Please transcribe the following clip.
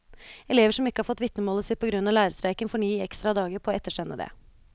Elever som ikke har fått vitnemålet sitt på grunn av lærerstreiken, får ni ekstra dager på å ettersende det.